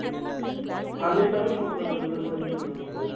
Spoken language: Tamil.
அன்னைக்கு தமிழ் மாசததுல வைக்க வேண்டியதுதான